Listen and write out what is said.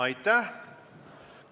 Aitäh!